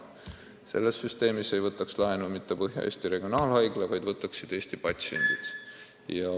Selle süsteemi korral ei võtaks laenu mitte Põhja-Eesti Regionaalhaigla, vaid võtaksid Eesti inimesed.